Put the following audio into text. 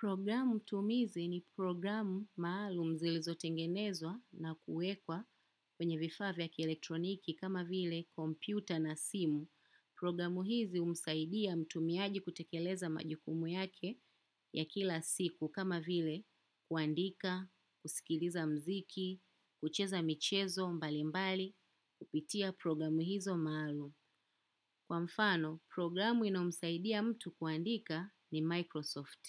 Programu tumizi ni programu maalumu zilizotengenezwa na kuwekwa kwenye vifaa vya kielektroniki kama vile kompyuta na simu. Programu hizi humsaidia mtumiaji kutekeleza majukumu yake ya kila siku, kama vile kuandika, kusikiliza mziki, kucheza michezo mbali mbali, kupitia programu hizo maalumu. Kwa mfano, programu inayomsaidia mtu kuandika ni Microsoft.